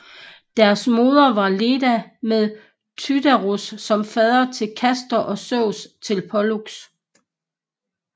Deres moder var Leda med Tyndareos som fader til Castor og Zeus til Pollux